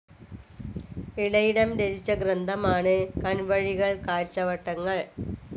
ഇളയിടം രചിച്ച ഗ്രന്ഥമാണ് കൺവഴികൾ കാഴ്ചവട്ടങ്ങൾ.